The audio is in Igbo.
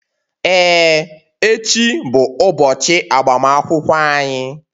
Ee, echi bụ ụbọchị agbamakwụkwọ anyị.